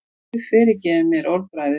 Guð fyrirgefi mér orðbragðið.